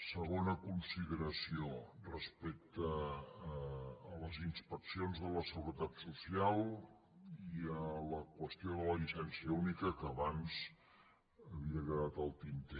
segona consideració respecte a les inspeccions de la seguretat social i a la qüestió de la llicència única que abans havia quedat al tinter